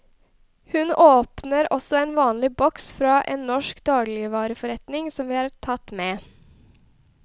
Hun åpner også en vanlig boks fra en norsk dagligvareforretning som vi har tatt med.